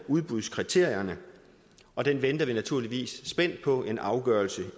udbudskriterierne og vi venter naturligvis spændt på en afgørelse det